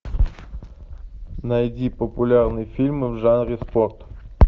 найди популярные фильмы в жанре спорт